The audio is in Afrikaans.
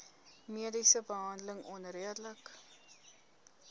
mediese behandeling onredelik